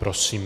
Prosím.